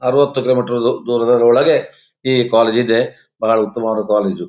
ಅರವತ್ತು ಕಿಲೋಮೀಟರ್ ದೂರದೊಳಗೆ ಈ ಕಾಲೇಜ್ ಇದೆ ಬಹಳ ಉತ್ತಮವಾದ ಕಾಲೇಜು .